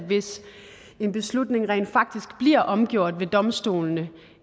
hvis en beslutning rent faktisk bliver omgjort ved domstolene